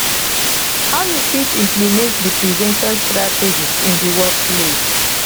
how you fit implement di prevention strategies in di workplace